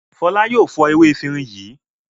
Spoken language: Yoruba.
Fọlá yóò fọ ewé efirin yìí.